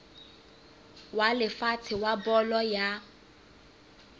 wa lefatshe wa bolo ya